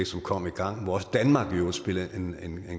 som kom i gang og hvor også danmark i øvrigt spillede en